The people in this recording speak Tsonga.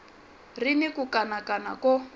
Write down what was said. ri ni ku kanakana ko